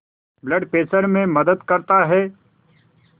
blood pressure में मदद करता है